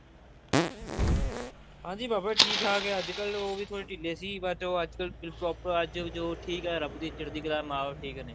ਹਾਂਜੀ ਪਾਪਾ ਜੀ ਠੀਕ ਠਾਕ ਐ ਅੱਜਕਲ ਉਹ ਵੀ ਥੋੜੇ ਢਿੱਲੇ ਸੀ but ਅੱਜਕਲ ਉਹ proper ਅੱਜ ਉਹ ਠੀਕ ਐ ਰੱਬ ਦੀ ਚੜਦੀਕਲਾ ਮਾਂ ਬਾਪ ਠੀਕ ਨੇ